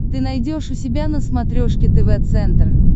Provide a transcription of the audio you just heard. ты найдешь у себя на смотрешке тв центр